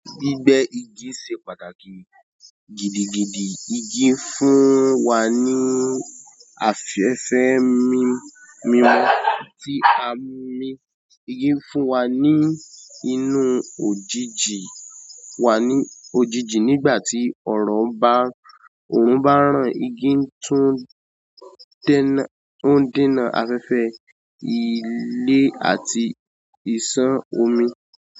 Gbígbẹ́ igi ṣe pàtàkì gidigidi. Igi fún wa ní afẹ́fẹ́ mi-mimu tí a ń mí. Igi fún wa ní inú òjijì wá ní ojiji nígbà tí ọ̀rọ̀ bá, òòrùn bá ràn. Igi tún dènà-ó ń dènà afẹ́fẹ́, ilé àti ìsàn omi.